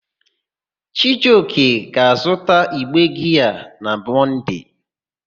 Chijioke ga-azụta igbe giaa na Mọnde.